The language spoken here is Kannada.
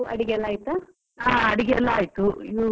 ಹಾ ಅಡಿಗೆ ಎಲ್ಲಾ ಆಯ್ತು, ಇನು ಒಂದ್ ಸ್ವಲ್ಪ ಆರಾಮ.